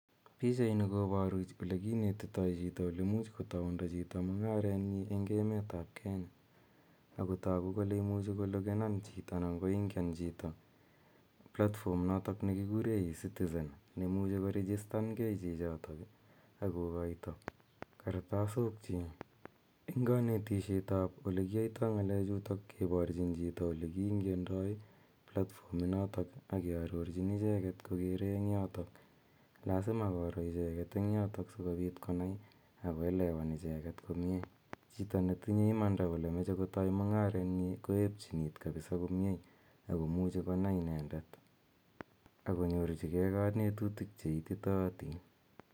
Pichaini koparu ole kinetitai chito ole much kotaunda chito mung'aret nyi eng' emet ap Kenya. Ako tagu kole imuchi kologenan chito ana koingian chito platform notok ne kikure ecitizen, ne imuchi korejistan gei chichotok ako koita kartasokchiik. Eng' kanetishetap ole kiatai ng'alechutok keparchin chito ole kiingiandai platform ak kearorchi icheget kokere en yotok. Lasima koro icheget eng' yotok si kopiit konai ako elewan icheget komye. Chito netinye imanda kole mache kotai mung'aret nyi koepchin iit kapisa komye ako muchi konai inendet ako nyorchigei kanetutik che ititaatin.